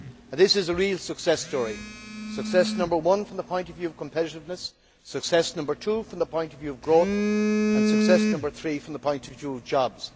This is a real success story success number one from the point of view of competitiveness, success number two from the point of view of growth, and success number three from the point of view of jobs.